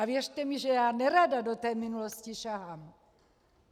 A věřte mi, že já nerada do té minulosti sahám.